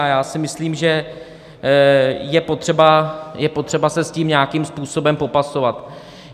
A já si myslím, že je potřeba se s tím nějakým způsobem popasovat.